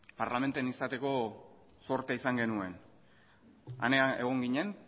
parlamentuan izateko zortea izan genuen han egon ginen